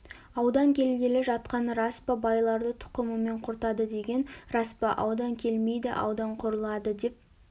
аудан келгелі жатқаны рас па байларды тұқымымен құртады деген рас па аудан келмейді аудан құрылады деп